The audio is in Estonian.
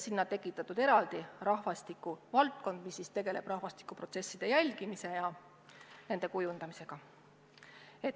Sinna on tekitatud eraldi osakond, mis tegeleb rahvastikuprotsesside jälgimise ja nende kujundamisega.